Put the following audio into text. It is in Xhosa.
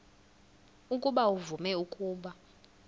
ukuba uvume ukuba